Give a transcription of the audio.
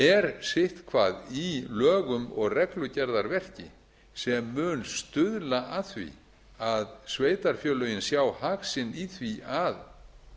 er sitthvað í lögum og reglugerðarverki sem mun stuðla að því að sveitarfélögin sjá hag sinn í því að